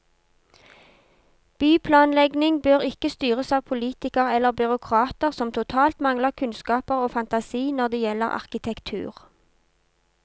Byplanlegning bør ikke styres av politikere eller byråkrater som totalt mangler kunnskaper og fantasi når det gjelder arkitektur.